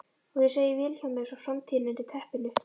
Og ég segi Vilhjálmi frá framtíðinni undir teppinu.